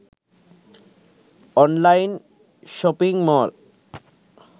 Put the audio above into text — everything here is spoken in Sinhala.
online shopping mall